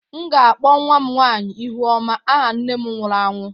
M ga-akpọ nwa m nwanyị "Ihuoma" aha nne nne m nwụrụ anwụ.